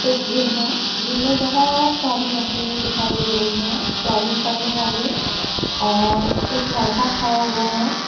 इ जिम है जिम में बहुत सारी मशीनें दिखाई दे रही है जॉगिंग करने वाली और एक लड़का खड़ा हुआ है।